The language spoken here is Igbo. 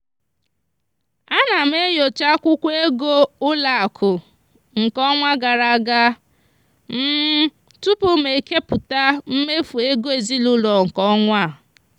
ana m enyocha akwụkwọ ego ụlọakụ nke ọnwa gara aga tupu m kepụta mmefu ego ezinụụlọ nke ọnwa a.